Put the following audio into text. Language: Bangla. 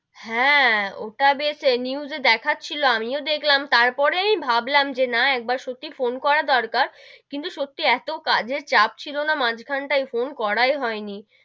হেঁ, ওটা বেশ news এ দেখছিলো আমিও দেখলাম, তার পরেই ভাবলাম যে না একবার সত্যি ফোন করা দরকার কিন্তু সত্যি এতো কাজের চাপ ছিল না মাঝ খান তাই ফোন করে হয় নি,